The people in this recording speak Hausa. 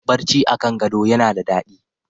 Barci a kan gado yana da daɗi.